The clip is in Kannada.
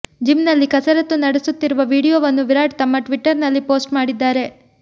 ಜಿಮ್ ನಲ್ಲಿ ಕಸರತ್ತು ನಡೆಸುತ್ತಿರುವ ವಿಡಿಯೋವನ್ನು ವಿರಾಟ್ ತಮ್ಮ ಟ್ವಿಟರ್ ನಲ್ಲಿ ಪೋಸ್ಟ್ ಮಾಡಿದ್ದಾರೆ